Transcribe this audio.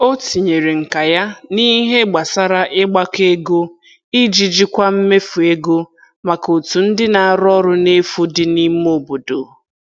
O tinyere nka ya n'ihe gbasara ịgbakọ ego iji jikwaa mmefu ego maka otu ndị na-arụ ọrụ n'efu dị n'ime obodo.